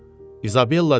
İzabella dedi.